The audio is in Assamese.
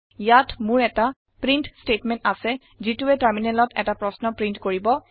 ইয়াত মোৰ এটা প্ৰিণ্ট ষ্টেটমেণ্ট আছে যিটোৱে টাৰমিনেলত এটা প্ৰশ্ন প্ৰীন্ট কৰিব